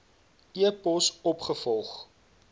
e pos opgevolg